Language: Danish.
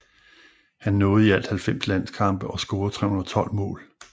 Han nåede i alt 90 landskampe og scorede 312 mål